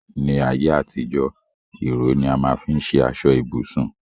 ní ayé àtijó, ìró ni a má n fi ṣe aṣọ ibùsùn